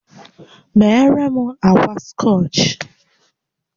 Meere m ákwà scọch!